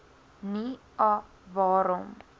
nie a waarom